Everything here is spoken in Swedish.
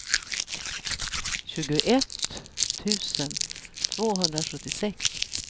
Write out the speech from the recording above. tjugoett tusen tvåhundrasjuttiosex